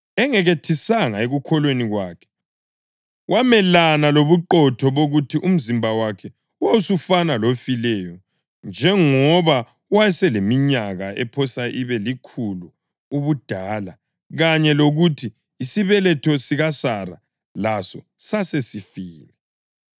Engekethisanga ekukholweni kwakhe, wamelana lobuqotho bokuthi umzimba wakhe wawusufana lofileyo, njengoba wayeseleminyaka ephosa ibe likhulu ubudala kanye lokuthi isibeletho sikaSara laso sasesifile.